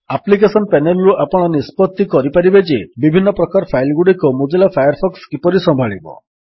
application panel ରୁ ଆପଣ ନିଷ୍ପତ୍ତି କରିପାରିବେ ଯେ ବିଭିନ୍ନ ପ୍ରକାର ଫାଇଲ୍ ଗୁଡ଼ିକୁ ମୋଜିଲା ଫାୟାରଫକ୍ସ କିପରି ସମ୍ଭାଳିବ